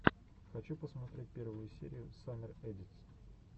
хочу посмотреть первую серию саммер эдитс